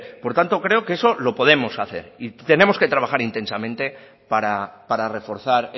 por tanto creo que eso lo podemos hacer tenemos que trabajar intensamente para reforzar